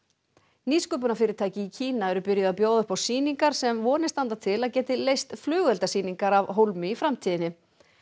nýsköpunarfyrirtæki í Kína eru byrjuð að bjóða upp á sýningar sem vonir standa til að geti leyst flugeldasýningar af hólmi í framtíðinni